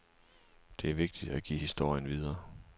Det er vigtigt at give historien videre.